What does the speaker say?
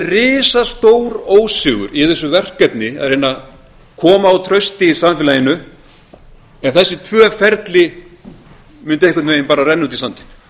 risastór ósigur í þessu verkefni að reyna að koma á trausti í samfélaginu ef þessi tvö ferli mundu einhvern veginn bara renna út í sandinn